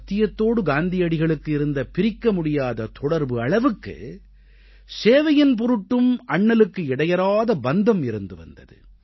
சத்தியத்தோடு காந்தியடிகளுக்கு இருந்த பிரிக்க முடியாத தொடர்பு அளவுக்கு சேவையின் பொருட்டும் அண்ணலுக்கு இடையறாத பந்தம் இருந்து வந்தது